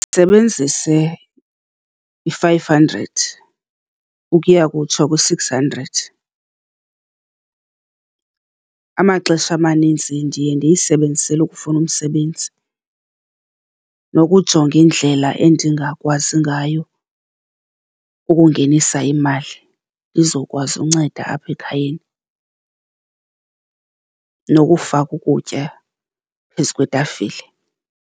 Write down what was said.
sebenzise i-five hundred ukuya kutsho kwi-six hundred. Amaxesha amaninzi ndiye ndiyisebenzisele ukufuna umsebenzi nokujonga indlela endingakwazi ngayo ukungenisa imali ndizawukwazi ukunceda apha ekhayeni nokufaka ukutya phezu kwetafile.